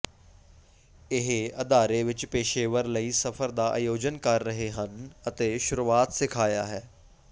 ਇਹ ਅਦਾਰੇ ਵਿੱਚ ਪੇਸ਼ੇਵਰ ਲਈ ਸਫ਼ਰ ਦਾ ਆਯੋਜਨ ਕਰ ਰਹੇ ਹਨ ਅਤੇ ਸ਼ੁਰੂਆਤ ਸਿਖਾਇਆ ਹੈ